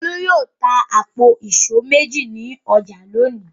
Olú yóò ta àpò ìṣó méjì ní ọjà lónìí.